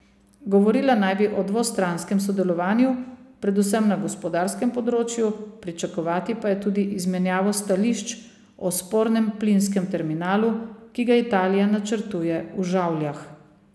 Govorila naj bi o dvostranskem sodelovanju, predvsem na gospodarskem področju, pričakovati pa je tudi izmenjavo stališč o spornem plinskem terminalu, ki ga Italija načrtuje v Žavljah.